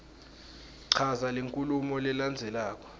chaza lenkhulumo lelandzelako